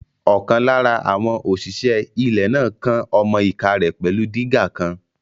Ọ̀kan lára àwọn òṣìṣẹ́ ilẹ̀ náà kán ọmọ-ìká rẹ̀ pẹ̀lú dígà kan